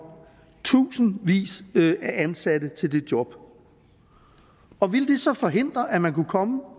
tusindvis af ansatte til det job og ville det så forhindre at man kunne komme